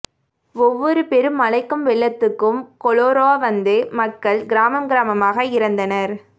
ஒவ்வொரு பெருமழைக்கும் வெள்ளத்துக்கும் கொலோரா வந்து மக்கள் கிராமம் கிராமமாக இறந்தனர்